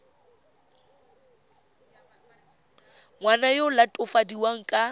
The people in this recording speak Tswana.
ngwana yo o latofadiwang ka